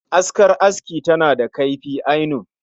Askar aski tana da kaifi ainun